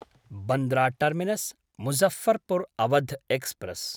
Bandra Terminus Muzaffarpur Awadh express